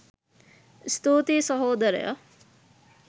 ස්තුතියි සහෝදරයා